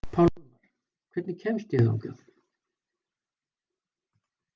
Pálmar, hvernig kemst ég þangað?